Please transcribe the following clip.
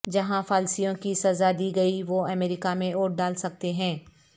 جہاں فالسیوں کی سزا دی گئی وہ امریکہ میں ووٹ ڈال سکتے ہیں